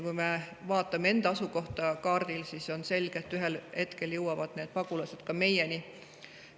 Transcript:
Kui me vaatame enda asukohta kaardil, siis on selge, et ühel hetkel jõuavad need pagulased ka meieni.